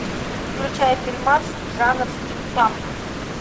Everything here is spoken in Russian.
включай фильмас жанр стимпанк